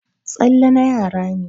Tsalle na yara ne.